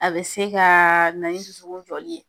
A bɛ se ka na ni dusukun joli ye.